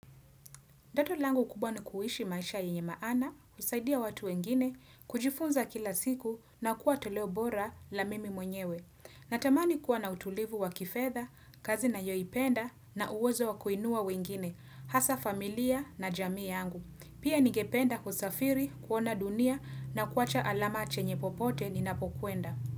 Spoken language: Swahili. Ndoti langu kubwa ni kuhishi maisha yenye maana, kusaidia watu wengine, kujifunza kila siku na kuwa toleo bora la mimi mwenyewe. Natamani kuwa na utulivu wa kifedha, kazi nayo ipenda na uwezo wa kuinua wengine, hasa familia na jamii yangu. Pia nigependa kusafiri, kuona dunia na kuwacha alama chenye popote ninapokuenda.